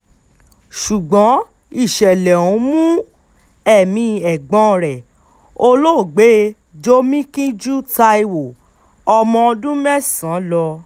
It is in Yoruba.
ṣùgbọ́n ìṣẹ̀lẹ̀ ọ̀hún mú ẹ̀mí ẹ̀gbọ́n rẹ̀ olóògbé jomikinjú taiwo ọmọ ọdún mẹ́sàn-án lọ